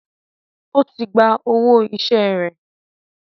Ó tí gba owó iṣẹ́ rẹ̀.